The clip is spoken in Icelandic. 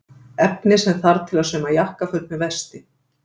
Efnið sem þarf til að sauma jakkaföt með vesti.